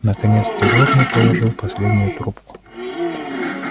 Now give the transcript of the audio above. наконец дежурный положил последнюю трубку